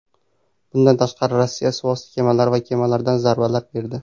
Bundan tashqari, Rossiya suvosti kemalari va kemalardan zarbalar berdi.